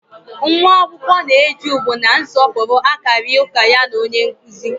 Nwa akwụkwọ na-eji ugwu na nsọpụrụ akarị ụka ya na onye nkụzi